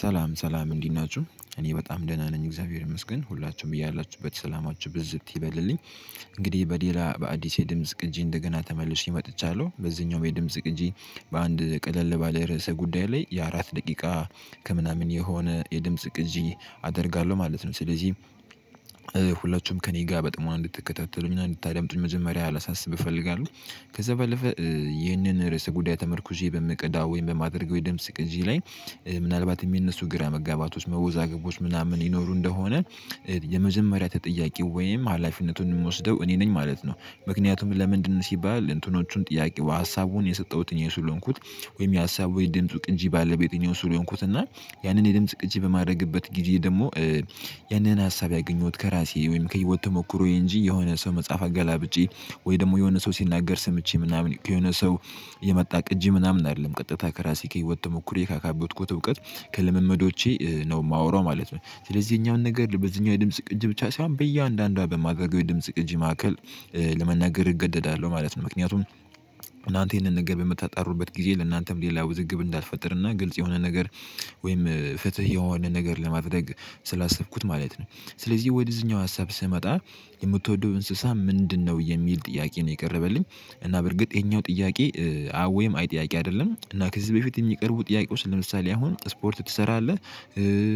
ሰላም ሰላም እንዲት ናችሁ እኔ በጣም ደህና ነኝ እግዚአብሔር ይመስገን ሁላችንም በየላችሁበት ሰላማችሁ ብዝት ይበልልኝ። እንግዲህ በሌላ በአዲሴ ድምጽ ቅጂ እንደገና ተመልሼ መጥቻለሁ በዚህኛውም የድምጽ ቅጂ በአንድ ቀለል ባለ ርዕሰ ጉዳይ ላይ የአራት ደቂቃ ከምናምን የሆነ የድምጽ ቅጂ አደርጋለሁ ማለት ነው። ስለዚህ ሁላችሁም ከእኔ ጋር በጣም እንድትከታተሉ እና እንድታዳምጡኝ መጀመሪያ ላሳስብ እፈልጋለሁ። ከዛ በለፈ ይህንን ርዕሰ ጉዳይ ተመርኩዤ በምቀዳ ወይም በማድረገው የድምጽ ቅጂ ላይ ምናልባት የሚነሱ ግራ መጋባቶች መወዛገቦች ምናምን ይኖሩ እንደሆነ። የመጀመሪያ ተጠያቂው ወይም ሀላፊነቱን የምወስደው እኔ ነኝ ማለት ነው። ምክንያቱም ለምንድነው ሲባል እንትኖቹን ጥያቄው ሀሳቡን የሰጠሁትኝ እኔ ስለሆንኩት። ወይም የሀሳቡ የድምጹ ቅንጂ ባለቤት እኔው ስለሆንኩት እና ያንን የድምጽ ቅጂ በማድረግበት ጊዜ ደግሞ። ያንን ሀሳብ ያገኘሁት ከራሴ ወይም ከህይወት ተሞክሮ እንጂ የሆነ ሰው መጽሐፍ አገላብጪ። ወይ ደግሞ የሆነ ሰው ሲናገር ስምቼ ምናምን የሆነ ሰው የመጣ ቅጂ ምናምን አይደለም። ቀጥታ ከራሴ ከህይወት ተሞክሮ ካካበትኩት እውቀት ከልምምዶቼ ነው የማወራው ማለት ነው። ስለዚህ የኛውን ነገር በዚህኛው የድምጽ ቅጅ ብቻ ሳይሆን በእያንዳንዷ በማደርገው የድምጽ ቅጅ ማዕከል። ለመናገር እገደዳለሁ ማለት ነው ምክንያቱም። እናንተ ይሄንን ነገር በምታጣሩበት ጊዜ ለእናንተም ሌላ ውዝግብ እንዳይፈጥርና ግልጽ የሆነ ነገር ወይም ፍትህ የሆነ ነገር ለማድረግ ስላሰብኩት ማለት ነው። ስለዚህ ወደ እዚህኛው ሀሳብ ስመጣ የምትወደው እንስሳ ምንድነው? የሚል ጥያቄ ነው የቀረበልኝ። እና በርግጥ ይሄኛው ጥያቄ ወይም አይ ጥያቄ አይደለም እና ከዚህ በፊት የሚቀርቡ ጥያቄዎች ለምሳሌ አሁን ስፖርት ትሰራለህ?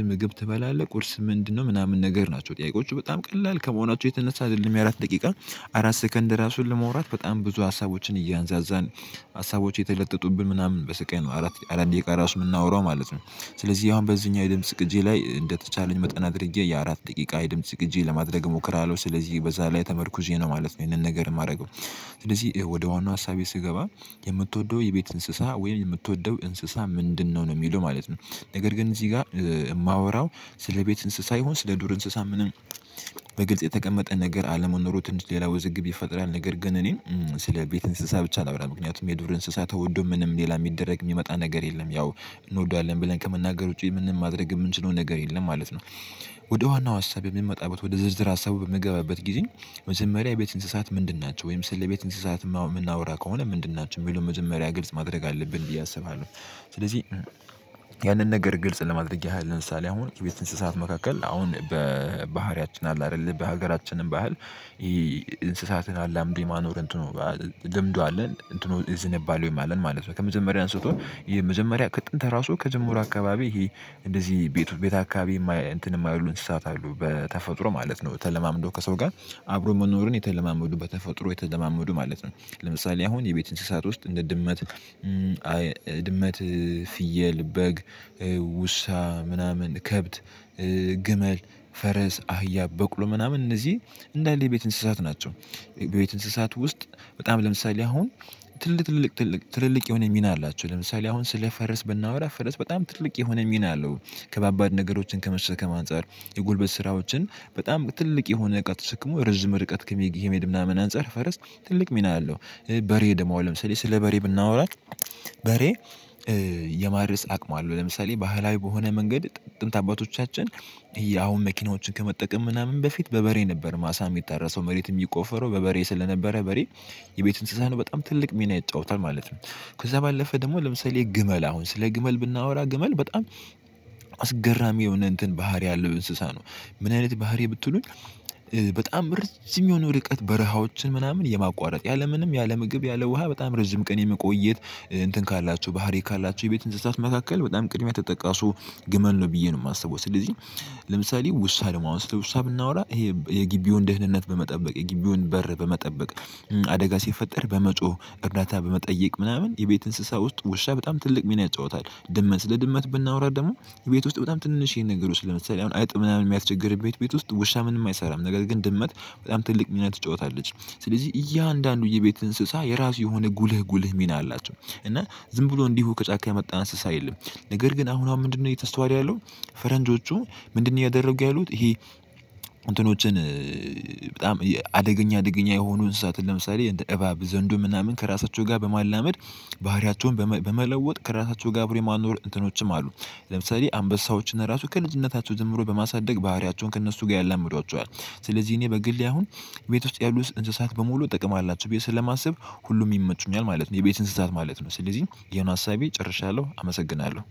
ምግብ ትበላለህ ቁርስ ምንድነው ምናምን ነገር ናቸው ጥያቄዎቹ በጣም ቀላል ከመሆናቸው የተነሳ አይደለም። የአራት ደቂቃ አራት ሰከንድ ራሱን ለመውራት በጣም ብዙ ሀሳቦችን እያነዛዛን ሀሳቦች የተለጠጡብን ምናምን በስቃይ ነው አራት አራት ደቂቃ የምናወራው ማለት ነው። ስለዚህ ያው በዚህኛው የድምጽ ቅጂ ላይ እንደተቻለኝ መጠና አድርጌ የአራት ደቂቃ የድምጽ ቅጂ ለማድረግ እሞክራለሁ። ስለዚህ በዛ ላይ ተመርኩዤ ነው ማለት ነው ይሄንን ነገር የማደርገው። ስለዚህ ወደ ዋናው ሀሳቤ ስገባ የምትወደው የቤት እንስሳ ወይም የምትወደው እንስሳ ምንድነው? ነው የሚለው ማለት ነው። ነገር ግን እዚህ ጋር የማወራው ስለ ቤት እንስሳ ይሁን ስለ ዱር እንስሳ ምንም በግልጽ የተቀመጠ ነገር አለመኖሩን ሌላ ውዝግብ ይፈጥራል። ነገር ግን እኔን ስለ ቤት እንስሳ ብቻ ነው ላውራ ምክንያቱም የዱር እንስሳ ተወዶ ምንም ሌላ የሚደረግ የሚመጣ ነገር የለም። ያው እንወዳለን ብለን ከመናገር ውጪ ምንም ማድረግ የምንችለው ነገር የለም ማለት ነው። ወደ ዋናው ሀሳብ የምንመጣበት ወደ ዝርዝር ሀሳቡ በምገባበት ጊዜ መጀመሪያ የቤት እንስሳት ምንድን ናቸው ወይም ስለ ቤት እንስሳት የምናወራ ከሆነ ምንድን ናችሁ የሚለው መጀመሪያ ግልጽ ማድረግ አለብን ብዬ አስባለሁ። ስለዚህ ያንን ነገር ግልጽ ለማድረግ ያህል ለምሳሌ አሁን የቤት እንስሳት መካከል አሁን በባህሪያችን አለ አይደለ በሀገራችንም ባህል። አላምዶ የማኖር እንትኑ ልምዱ አለን እንትኑ ዝንባሌው አለን ማለት ነው። ከመጀመሪያ አንስቶ የመጀመሪያ ከጥንት ራሱ ከጅምሩ አካባቢ ይሄ እንደዚህ ቤት ቤት አካባቢ እንትን የማይሉ እንስሳት አሉ በተፈጥሮ ማለት ነው። ተለማምዶ ከሰው ጋር አብሮ መኖርን የተለማመዱ በተፈጥሮ የተለማመዱ ማለት ነው። ለምሳሌ አሁን የቤት እንስሳት ውስጥ እንደ ድመት ፍየል በግ ውሻ ምናምን ከብት ግመል ፈረስ አህያ በቅሎ ምናምን እነዚህ እንዳለ የቤት እንስሳት ናቸው። በቤት እንስሳት ውስጥ በጣም ለምሳሌ አሁን ትልቅ ትልቅ ትልቅ የሆነ ሚና አላቸው ለምሳሌ አሁን ስለ ፈረስ ብናወራ ፈረስ በጣም ትልቅ የሆነ ሚና አለው። ከባባድ ነገሮችን ከመሸከም አንፃር የጉልበት ስራዎችን በጣም ትልቅ የሆነ እቃ ተሸክሞ ርዝም ርቀት ከመሄድ ምናምን አንፃር ፈረስ ትልቅ ሚና አለው። በሬ ደግሞ ለምሳሌ ስለ በሬ ብናወራ በሬ የማርስ አቅሙ አለው ለምሳሌ ባህላዊ በሆነ መንገድ ጥንት አባቶቻችን መኪናዎችን ከመጠቀም ምናምን በፊት በበሬ ነበር ማሳ የሚታረሰው መሬት የሚቆፈረው በበሬ ስለነበረ በሬ የቤት እንስሳን በጣም ትልቅ ሚና ይጫወታል ማለት ነው። ከዛ ባለፈ ደግሞ ለምሳሌ ግመል አሁን ስለ ግመል ብናወራ ግመል በጣም አስገራሚ የሆነ እንትን ባህሪ አለው እንስሳ ነው። ምን አይነት ባህሪ ብትሉኝ? በጣም ርዥም የሆነ ርቀት በረሃዎችን ምናምን የማቋረጥ ያለምንም ያለ ምግብ ያለ ውሃ በጣም ርዥም ቀን የመቆየት እንትን ካላችሁ ባህሪ ካላችሁ የቤት እንስሳት መካከል በጣም ቅድሚያ ተጠቃሹ ግመል ነው ብዬ ነው የማስበው ስለዚህ። ለምሳሌ ውሻ ደሞ አሁን ስለውሻ ብናወራ ይሄ የጊቢውን ደህንነት በመጠበቅ የጊቢውን በር በመጠበቅ አደጋ ሲፈጠር በመጮህ እርዳታ በመጠየቅ ምናምን የቤት እንስሳ ውስጥ ውሻ በጣም ትልቅ ሚና ያጫወታል። ድመት ስለድመት ብናወራ ደግሞ ቤት ውስጥ በጣም ትንሽ ይሄን ነገር ውስጥ ለመሰለኝ አይጥ ምናምን የሚያስቸግርበት ቤት ውስጥ ውሻ ምንም አይሰራም ነገር ግን ድመት በጣም ትልቅ ሚና ትጫወታለች። ስለዚህ እያንዳንዱ የቤት እንስሳ የራሱ የሆነ ጉልህ ጉልህ ሚና አላቸው። እና ዝም ብሎ እንዲሁ ከጫካ የመጣ እንስሳ የለም። ነገር ግን አሁን አሁን ምንድነው የተስተዋለው? ፈረንጆቹ ምንድነው ያደረጉ ያሉት ይሄ። እንትኖችን በጣም አደገኛ የሆኑ እንስሳት ለምሳሌ እባብ ዘንዶ ምናምን ከራሳቸው ጋር በማላመድ ባህሪያቸውን በመለወጥ ከራሳቸው ጋር ብሎ የማኖር እንትኖችም አሉ። ለምሳሌ አንበሳዎችን ራሱ ከልጅነታቸው ጀምሮ በማሳደግ ባህሪያቸውን ከእነሱ ጋር ያላምዷቸዋል። ስለዚህ እኔ በግሌ አሁን ቤት ውስጥ ያሉት እንስሳት በሙሉ ጥቅም አላቸው ቤት ስለማስብ ሁሉም ይመቹኛል ማለት ነው። የቤት እንስሳት ማለት ነው ስለዚህ የሆነ ሀሳቤ ጨርሻለሁ። አመሰግናለሁ